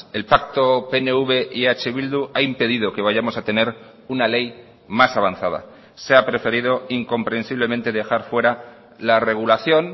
el pacto pnv y eh bildu ha impedido que vayamos a tener una ley más avanzada se ha preferido incomprensiblemente dejar fuera la regulación